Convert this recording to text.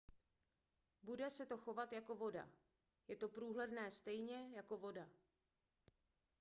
bude se to chovat jako voda je to průhledné stejně jako voda